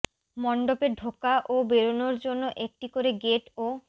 মণ্ডপে ঢোকা ও বেরনোর জন্য একটি করে গেট ও